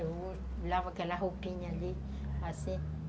Eu lavo aquela roupinha ali, assim.